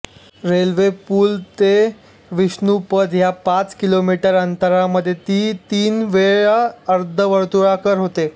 railway पूल ते विष्णुपद या पाच किलोमीटर अंतरामध्ये ती तीन वेळा अर्धवर्तुळाकार होते